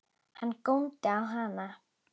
Hann góndi á hana.